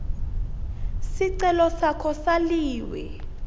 sicelo sakho saliwe